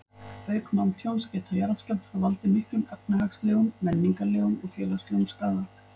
Auk manntjóns geta jarðskjálftar valdið miklum efnahagslegum, menningarlegum og félagslegum skaða.